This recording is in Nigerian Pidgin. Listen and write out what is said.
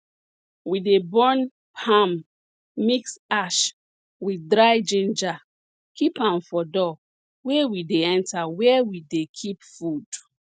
we dey burn palm mix ash with dry ginger keep am for door wey dey enter where we dey keep food